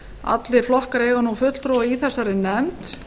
allir flokkar eiga fulltrúa í þessari nefnd